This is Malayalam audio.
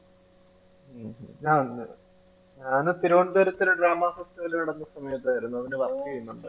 ഞാൻ ഞാന് തിരുവനന്തപുരത്ത് സമയത്തായിരുന്നു ഇവിടെ work ചെയ്യുന്നുണ്ട്.